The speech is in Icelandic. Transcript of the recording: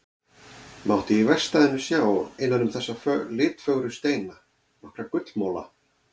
Mátti í verkstæðinu sjá innan um þessa litfögru steina nokkra gullmola.